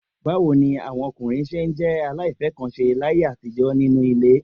Báwo ni àwọn ọkùnrin ṣé jẹ́ aláìfẹ́-nǹkan-ṣe láyé àtijọ́ nínú ilé?